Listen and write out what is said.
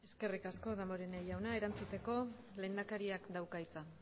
eskerrik asko damborenea jauna erantzuteko lehendakariak dauka hitza